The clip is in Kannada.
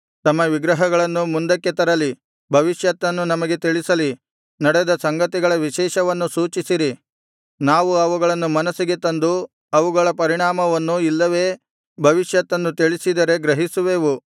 ತಮ್ಮ ನ್ಯಾಯಗಳನ್ನು ಮುಂದಕ್ಕೆ ತರಲಿ ಭವಿಷ್ಯತ್ತನ್ನು ನಮಗೆ ತಿಳಿಸಲಿ ನಡೆದ ಸಂಗತಿಗಳ ವಿಶೇಷವನ್ನು ಸೂಚಿಸಿರಿ ನಾವು ಅವುಗಳನ್ನು ಮನಸ್ಸಿಗೆ ತಂದು ಅವುಗಳ ಪರಿಣಾಮವನ್ನು ಇಲ್ಲವೇ ಭವಿಷ್ಯತ್ತನ್ನು ತಿಳಿಸಿದರೆ ಗ್ರಹಿಸುವೆವು